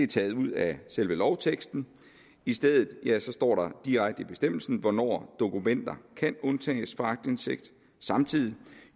taget ud af selve lovteksten i stedet står der direkte i bestemmelsen hvornår dokumenter kan undtages fra aktindsigt samtidig